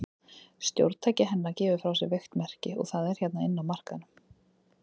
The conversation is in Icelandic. Stjórntæki hennar gefur frá sér veikt merki, og það er hérna inni á markaðnum.